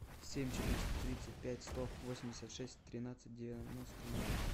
семь четыреста тридцать пять сто восемьдесят шесть тринадцать девяносто ноль